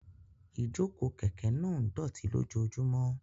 Ìjókòó kẹ̀kẹ́ náà ń dọ̀tí lójoojúmọ́.